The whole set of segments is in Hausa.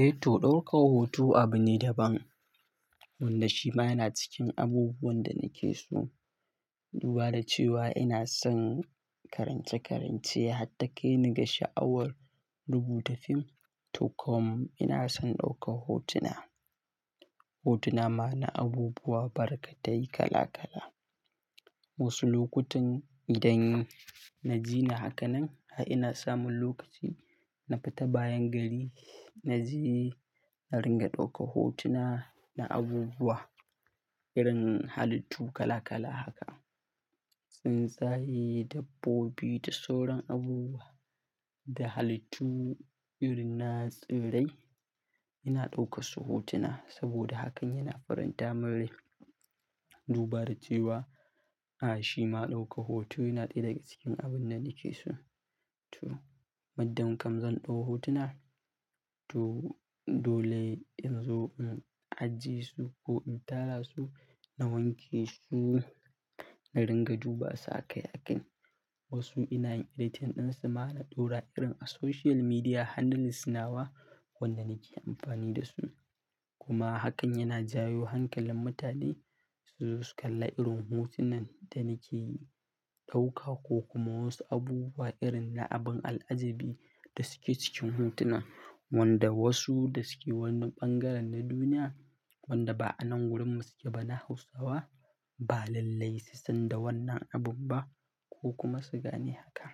Eh to, ɗaukar hoto abune daban, wanda shima yana cikin abubuwan da nake so. Duba da cewa ina son karance-karance, har ta kai ni ga sha'awar rubuta fim, to kom ina son ɗaukar hotuna. Hotuna ma na abubuwa barkatai kala-kala. Wasu lokutan idan naji ni haka nan, a ina samun lokaci, na fita bayan gari na je na ringa ɗaukar hotuna na abubuwa irin halittu kala-kala haka. Tsuntsaye, dabbobi da sauran abubuwa, da halittu irin na tsirrai, ina ɗaukar su hotuna sabida hakan yana faranta min rai. Duba da cewa, a shima ɗaukar hoto yana ɗaya daga cikin abunda nake so. To, muddin kam zan ɗau hotuna, to dole in zo in ajiye su ko in tara su na wanke su na ringa duba su aƙai akai. Wasu ina yin editin ɗin su ma na ɗora irin a social media handles nawa wanda nake amfani da su. Kuma hakan yana janyo hankalin mutane su zo su kalla irin hotunan da nake ɗauka ko kuma wasu abubuwa irin na abin al'ajabi da suke cikin hotunan wanda wasu da suke wani ɓangaren na duniya wanda ba a nan gurin mu suke ba na Hausawa ba lallai su san da wannan abin ba ko kuma su gane haka.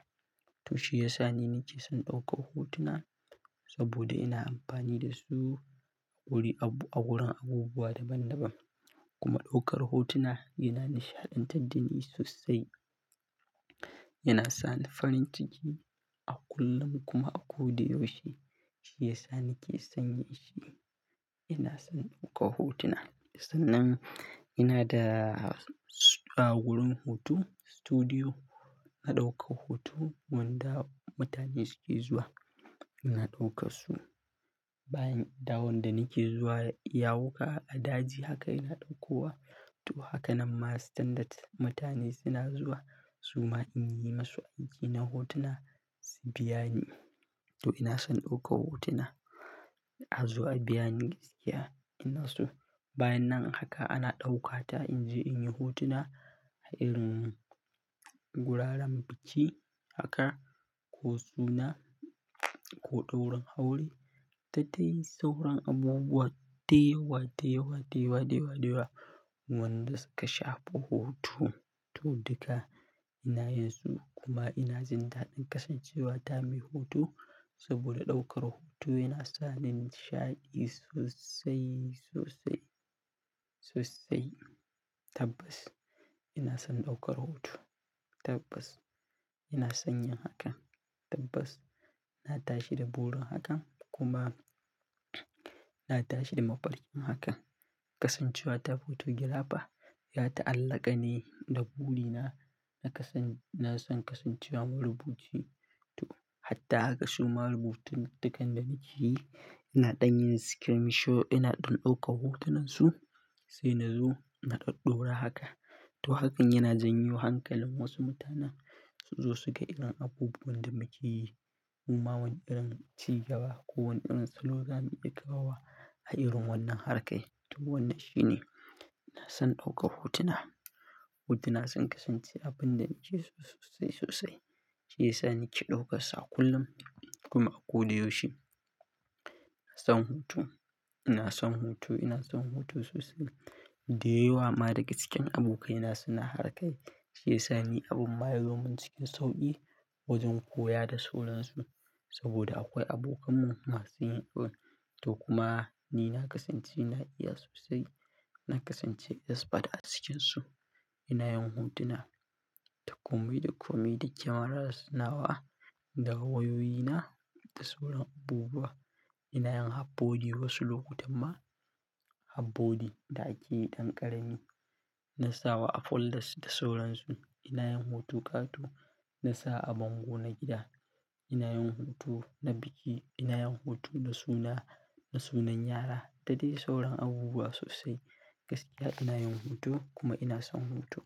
To shi yasa ni nake son ɗaukar hotuna sabida ina amfani da su wuri abu, a wurin abubuwa da ban da ban. Kuma ɗaukar hotuna yana nishaɗantar da ni sosai. Yana sa ni farin ciki a kullum kuma a ko da yaushe. Shi yasa nake san shi. Ina son ɗaukar hotuna. Sannan ina da wurin hoto, studio. Na ɗaukar hoto wanda mutane suke zuwa. Ina ɗaukar su bayan da wanda nake zuwa yawuka a daji haka ina ɗauko wa. To haka nan ma standard mutane suna zuwa suma in yi musu aiki na hotuna su biya ni. To ina son ɗaukar hotuna, azo a biya ni gaskiya ina so. Bayan nan haka ana ɗauka ta in je in yi hotuna a irin guraren biki haka ko suna ko ɗaurin aure. Da dai sauran abubuwa da yawa, da yawa, da yawa, da yawa, da yawa wanda suka shafi hoto. To duka ina yin su kuma ina jin daɗi kasancewa ta mai hoto, sabida ɗaukar hoto yana sa ni nishaɗi sosai, sosai, sosai. Tabbas ina son ɗaukar hoto. Tabbas, ina son yin hakan. Tabbas, na tashi da burin hakan kuma na tashi da mafarkin hakan. Kasancewa ta photographer ya ta'allaƙa ne da buri na. Na kasan, na san kasancewa marubuci. To harta haka suma rubutun, dukkan da nake yi ina ɗan yin screenshot ina ɗan ɗauka hotunan su sai na zo na ɗaɗɗora haka. Eh to, ɗaukar hoto abu ne daban wanda shi ma yana cikin abubuwan da nake so. Duba da cewa ina son karance-karance, hatta kai ni ga sha'awar rubuta fim, to komai ina son ɗaukar hotuna. Hotuna ma na abubuwa barkatai kala-kala. Wasu lokutan idan na jina haka nan, a ina samun lokaci, na fita bayan gari na je na ringa ɗauka hotuna na abubuwa irin halittu kala-kala haka. Shi yasa nake ɗaukar sa a kullum kuma a koda yaushe. Ina son hoto. Ina son hoto. Ina son hoto sosai. Da yawa ma daga cikin abokaina suna harkar. Shi yasa ni abin ma yazo min cikin sauƙi wajan koya da sauran su saboda akwai abokanmu masu yin hoto. To kuma ni na kasance na iya sosai. Na kasance expert a cikinsu. Ina yin hotuna da komai da komai, da kyamara nawa, da wayoyina, da sauran abubuwa. Ina yin half-body wasu lokutan ma. Half-body da ake yi ɗan ƙarami. Na sawa a folders da sauran su. Ina yin hoto ƙato. Na sawa a bango na gida. Ina yin hoto na biki. Ina yin hoto na suna, na sunan yara. Dadai sauran abubuwa sosai gaskiya. Ina yin hoto kuma ina son hoto.